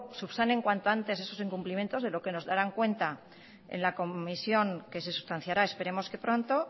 subsanen esos incumplimientos de lo que nos darán cuenta en la comisión que se sustanciará esperemos que pronto